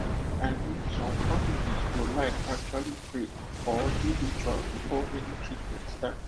i mean some families go like actually pray or do ritual before any treatment start